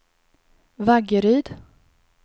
Vaggeryd